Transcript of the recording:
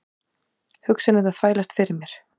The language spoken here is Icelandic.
Hugsanirnar þvælast fyrir mér.